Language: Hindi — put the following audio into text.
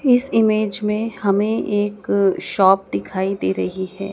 इस इमेज में हमें एक शॉप दिखाई दे रही है।